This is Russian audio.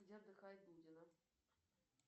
где отдыхает дудина